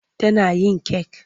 Tana yin kek.